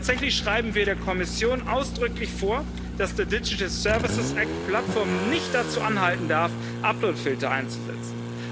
Tatsächlich schreiben wir der Kommission ausdrücklich vor, dass der Digital Services Act Plattformen nicht dazu anhalten darf, Uploadfilter einzusetzen.